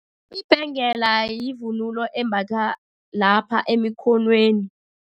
Ibhengela yivunulo embathwa lapha emikhonweni.